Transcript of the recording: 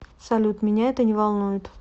салют меня это не волнует